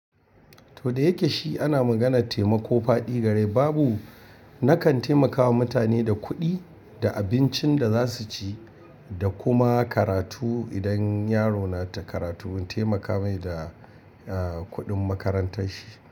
To da yake shi ana maganar taimako faɗi gare. Babu na kan taimakawa mutane da kuɗi da abincin da za su ci da kuma karatu. Idan yaro na ta karatu, in taimaka mai da, eh, kuɗin makarantar shi.